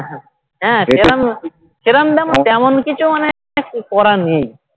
হ্যাঁ সেরাম সেরাম তেমন কিছু মানে করার নেই